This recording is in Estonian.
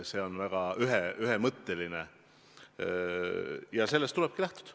See on väga ühemõtteline ja sellest tulebki lähtuda.